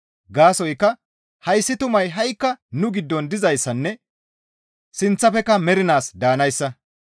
Gaasoykka hayssi tumay ha7ikka nu giddon dizayssanne sinththafekka mernaas daanayssa.